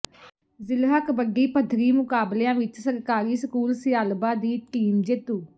ਜ਼ਿਲ੍ਹਾ ਕਬੱਡੀ ਪੱਧਰੀ ਮੁਕਾਬਲਿਆਂ ਵਿੱਚ ਸਰਕਾਰੀ ਸਕੂਲ ਸਿਆਲਬਾ ਦੀ ਟੀਮ ਜੇਤੂ